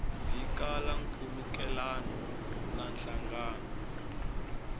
byi kala nkhulukelano na nhlangano